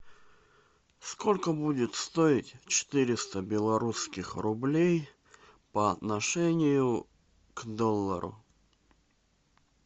сколько будет стоить четыреста белорусских рублей по отношению к доллару